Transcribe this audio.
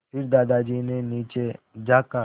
फिर दादाजी ने नीचे झाँका